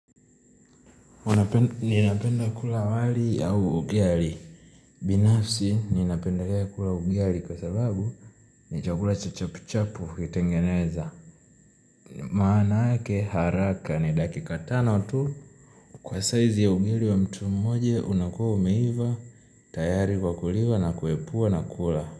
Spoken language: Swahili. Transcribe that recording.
Ninapenda kula wali au ugali. Binafsi ninapendelea kula ugali kwa sababu ni chakula chachapuchapu kitengeneza. Maanake haraka ni dakika tano tu. Kwa saa hizi ugali wa mtu mmoja unakuwa umeiva tayari kwa kuliwa na kuepua na kula.